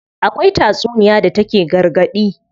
Akwai tatsuniya da take gargaɗi.